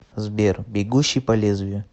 сбер бегущий по лезвию